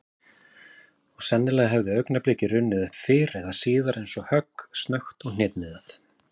Og sennilega hefði augnablikið runnið upp fyrr eða síðar eins og högg, snöggt og hnitmiðað.